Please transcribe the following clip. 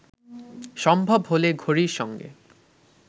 সম্ভব হলে ঘড়ির সঙ্গে